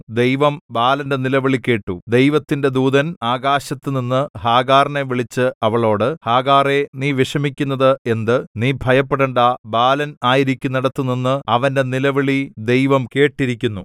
ദൈവം ബാലന്റെ നിലവിളി കേട്ടു ദൈവത്തിന്റെ ദൂതൻ ആകാശത്തുനിന്ന് ഹാഗാറിനെ വിളിച്ച് അവളോട് ഹാഗാറേ നീ വിഷമിക്കുന്നത് എന്ത് നീ ഭയപ്പെടേണ്ടാ ബാലൻ ആയിരിക്കുന്നിടത്തുനിന്ന് അവന്‍റെ നിലവിളി ദൈവം കേട്ടിരിക്കുന്നു